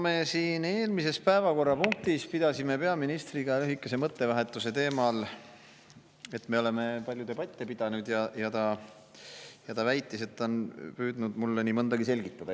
No me siin eelmises päevakorrapunktis pidasime peaministriga lühikese mõttevahetuse teemal, et me oleme palju debatte pidanud, ja ta väitis, et ta on püüdnud mulle nii mõndagi selgitada.